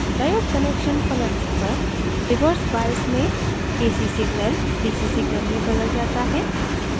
diode connection पलटने पर reverse bias में ac signal dc signal में बदल जाता है